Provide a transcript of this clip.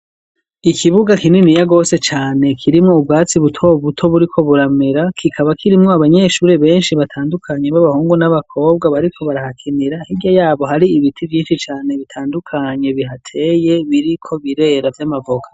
Ikibuga kinini ya gose cane kirimwo ubwatsi buto buto buriko buramera kikaba kirimwo abanyeshure benshi batandukanye b'abahungu n'abakobwa bariko barahakinira hirya yabo hari ibiti vyinshi cane bitandukanye bihateye biriko birera vy'amavoka.